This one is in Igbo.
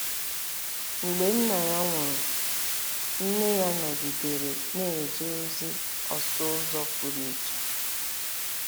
Mgbe nna ya nwụrụ ,nne ya nọgidere na-eje ozi ọsụ ụzọ pụrụ iche.